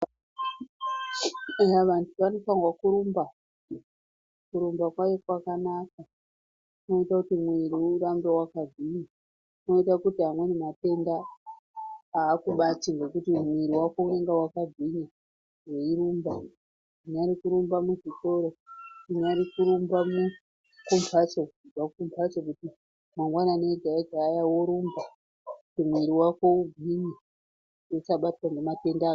Vantu vanofanirwa kurumba, kurumba kwayo kwakanaka, kunoita kuti muviri urambe wakagwinya, kunoita kuti amweni matenda haakubati ngekuti muviri wako unonga wakagwinya weirumba, kungari kurumba muzvikora, kungari kurumba kumbatso, kumbatso mangwanani ega ega kuti muviri urambe wakagwinya usabatwe ngematenda...